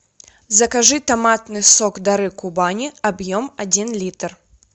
закажи томатный сок дары кубани объем один литр